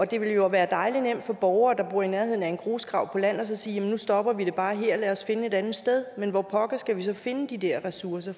det ville jo være dejlig nemt for borgere der bor i nærheden af en grusgrav på land at sige nu stopper vi det bare her lad os finde et andet sted men hvor pokker skal vi så finde de der ressourcer